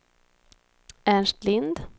Ernst Lind